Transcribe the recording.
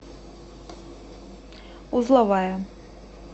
узловая